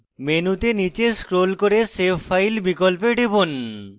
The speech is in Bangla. মেনুতে নীচে scroll করে save file বিকল্পে টিপুন